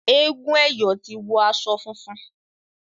egún eyo tí wò aṣọ fúnfún.